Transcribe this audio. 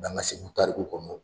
Mɛ an ka Segu tarikuw kɔnɔ